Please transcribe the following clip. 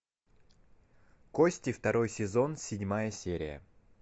кости второй сезон седьмая серия